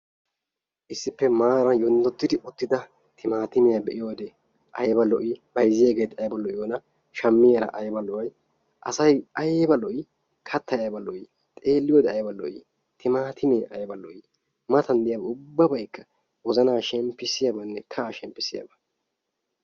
Issippe maaran teera yonddoddi uttida timaatimiyaa be'iyoode ayiba lo'ii? bayizziyageeti ayiba lo'iyoonaa? shammiyaara ayiba lo'ay? asay ayiba lo'ii kattay ayiba lo'ii? xeelliyoode ayba lo'ii timaatimee ayiba lo'ii? matan diyaa ubbabaykka wozanaa shenpissiyane kahaa shenppisiyaaba.